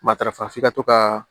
Matarafa f'i ka to ka